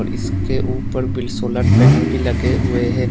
इसके ऊपर भी सोलर पैनल भी लगे हुए है।